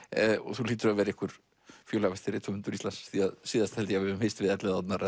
þú hlýtur að vera einhver fjölhæfasti rithöfundur Íslands því síðast held ég við höfum hist við Elliðaárnar